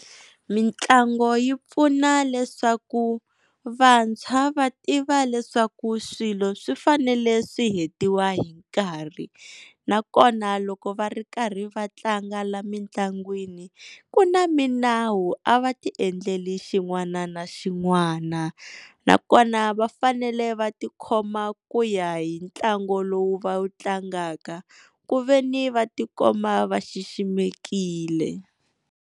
Mitlangu yi pfuna leswaku vantshwa va tiva leswaku swilo swi fanele swi hetiwa hi nkarhi, nakona loko va ri karhi va tlanga la mitlangwini ku na minawu a va ti endlela xin'wana na xin'wana, nakona va fanele va tikhoma ku ya hi ntlangu lowu va wu tlangaka ku veni va tikomba va xiximekile.